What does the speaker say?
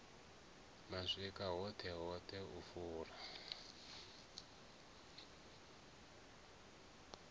mashika hoṱhe hoṱhe u fula